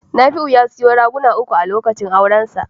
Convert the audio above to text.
Nafiu ya yazu raguna uku a lokacin aurensa.